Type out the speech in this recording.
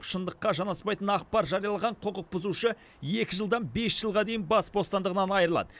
шындыққа жанаспайтын ақпар жариялаған құқық бұзушы екі жылдан бес жылға дейін бас бостандығынан айрылады